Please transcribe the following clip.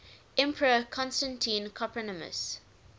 emperor constantine copronymus